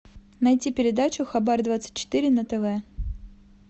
найти передачу хабар двадцать четыре на тв